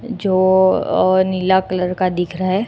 जो नीला कलर का दिख रहा है।